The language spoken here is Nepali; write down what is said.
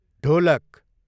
ढोलक